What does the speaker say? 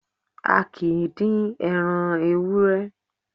A kìí dín ẹran ewúré